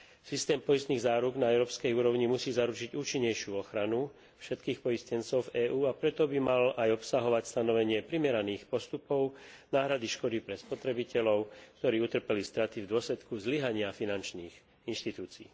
Systém poistných záruk na európskej úrovni musí zaručiť účinnejšiu ochranu všetkých poistencov v EÚ, a preto by mal aj obsahovať stanovenie primeraných postupov náhrady škody pre spotrebiteľov, ktorí utrpeli straty v dôsledku zlyhania finančných inštitúcií.